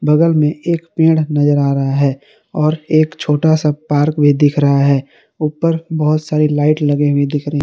बगल में एक पेड़ नजर आ रहा है और एक छोटा सा पार्क भी दिख रहा है ऊपर बहुत सारी लाइट लगे हुए दिख रहे--